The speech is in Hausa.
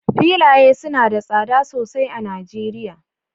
filaye suna da tsada sosai a Najeriya